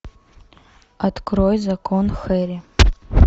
открой закон хэрри